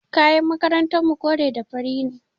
Kayan makarantarmu kore da fari ne.